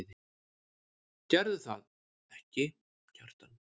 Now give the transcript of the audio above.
Gerðirðu það ekki, Kjartan?